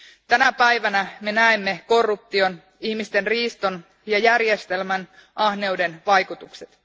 Tänä päivänä me näemme korruption, ihmisten riiston ja järjestelmän ahneuden vaikutukset.